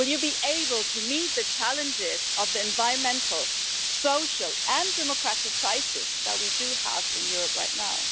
Will you be able to meet the challenges of the environmental, social and democratic crisis that we do have in Europe right now?